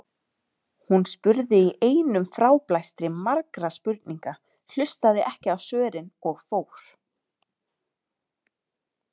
Hún spurði í einum fráblæstri margra spurninga, hlustaði ekki á svörin og fór.